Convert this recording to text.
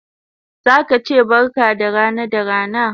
Zaka che barka da rana da rana